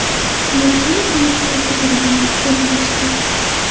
Naychani tomoqdan sug‘urib olib, tozalash kerak.